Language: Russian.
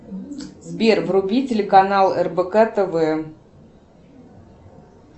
сбер вруби телеканал рбк тв